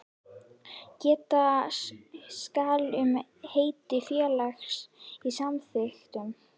Geta skal um heiti félags í samþykktum.